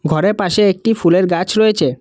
ঘরের পাশে একটি ফুলের গাছ রয়েছে।